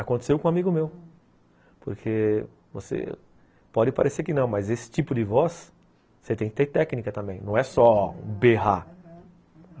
Aconteceu com um amigo meu, porque você pode parecer que não, mas esse tipo de voz, você tem que ter técnica também, não é só berrar, aham.